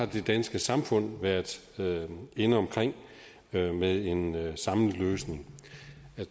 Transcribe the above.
det danske samfund har været inde omkring det med en samlet løsning